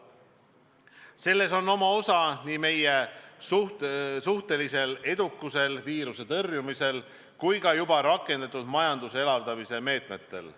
Selles on oma osa nii meie suhtelisel edukusel viiruse tõrjumisel kui ka juba rakendatud majanduse elavdamise meetmetel.